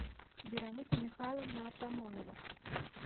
вероника михайловна артамонова